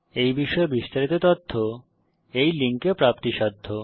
এই বিষয়ে বিস্তারিত তথ্য এই লিঙ্কে প্রাপ্তিসাধ্য